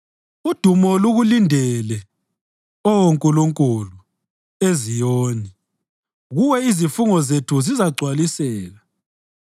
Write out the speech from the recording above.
Udumo lukulindele, Oh Nkulunkulu, eZiyoni; kuwe izifungo zethu zizagcwaliseka.